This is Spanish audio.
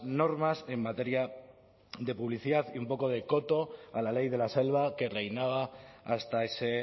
normas en materia de publicidad y un poco de coto a la ley de la selva que reinaba hasta ese